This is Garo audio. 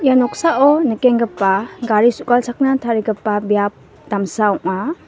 ia noksao nikenggipa gari su·galchakna tarigipa biap damsa ong·a.